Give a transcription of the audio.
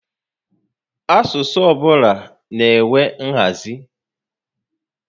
Asụsụ ọbụla na-enwe nhazi